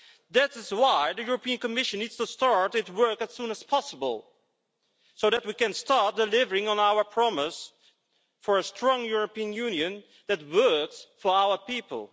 That is why the European Commission needs to start work as soon as possible so that we can start delivering on our promise for a strong European Union that works for our people.